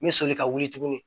N bɛ soli ka wuli tuguni